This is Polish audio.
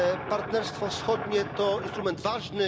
Partnerstwo Wschodnie to instrument ważny.